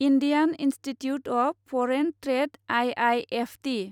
Indian institute of foreign trade I I F T